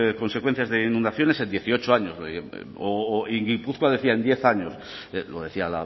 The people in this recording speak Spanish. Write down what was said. consecuencias de inundaciones en dieciocho años o y en gipuzkoa decía en diez años lo decía